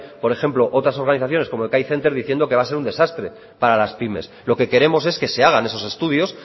por ejemplo otras organizaciones como thai center diciendo que va a ser un desastre para las pymes lo que queremos es que se hagan esos estudios